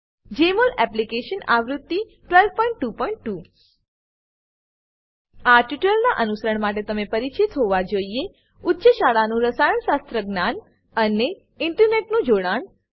જમોલ application આવૃત્તિ 1222 આ ટ્યુટોરીયલનાં અનુસરણ માટે તમે પરિચિત હોવા જોઈએ ઉચ્ચ શાળાનું રસાયણશાસ્ત્ર જ્ઞાન અને અને ઈન્ટરનેટનું જોડાણ